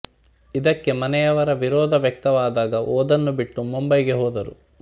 ಇದಕ್ಕೆ ಮನೆಯವರ ವಿರೋಧ ವ್ಯಕ್ತವಾದಾಗ ಓದನ್ನು ಬಿಟ್ಟು ಮುಂಬಯಿಗೆ ಹೋದರು